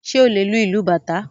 Ṣé o lè lu ìlù Bàtá?